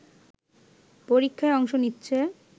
পরীক্ষায় অংশ নিচ্ছে